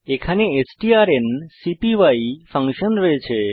এখানে স্ট্রান্সপাই ফাংশন রয়েছে